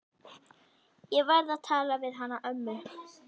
Ég verð að tala við hana ömmu.